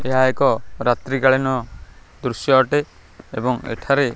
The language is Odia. ଏହା ଏକ ରାତ୍ରୀ କାଳୀନ ଦୃଶ୍ୟ ଅଟେ। ଏବଂ ଏଠାରେ।